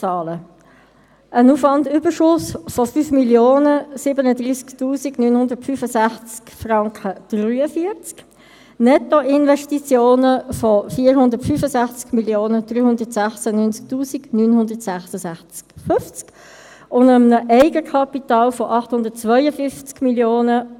Ein Gebäude, wo die Herstellungskosten nicht mehr eruierbar sind, ein geschütztes Haus mit einem eingeschränkten Nutzungspotenzial.